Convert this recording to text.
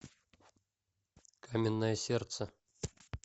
каменное сердце